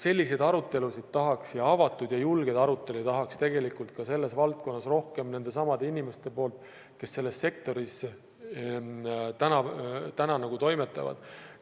Selliseid arutelusid tahaks, ja avatud ja julgeid arutelusid tahaks tegelikult ka selles valdkonnas rohkem nendelt samadelt inimestelt, kes selles sektoris täna toimetavad.